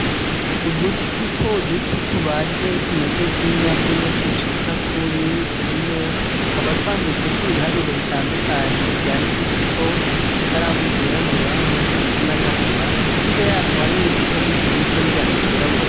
Uduto dutoduto, tubaje tumeze nk'inyabune dushika kuri tune, tukaba twanditseko Ibiharuro bitandukanye, vyandikishijweko ikaramu ryirabura nirindi risa n'agahama, hirya yatwo hari nibipapuro vyishi Vyanditseko n'ivyandiko vyirabura.